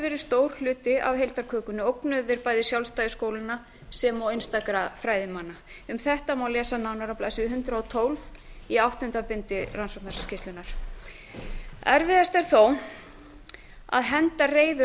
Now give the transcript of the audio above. verið stór hluti af heildarkökunni ógnuðu þeir bæði sjálfstæði skólanna sem og einstakra fræðimanna um þetta má lesa nánar á blaðsíðu hundrað og tólf í áttunda bindinu skýrslu rannsóknarnefndarinnar erfiðast er þó að henda reiður